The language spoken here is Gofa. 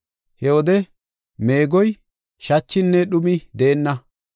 He wode meegoy, shachinne dhumi deenna.